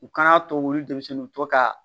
U kana to olu denmisɛnninw u to ka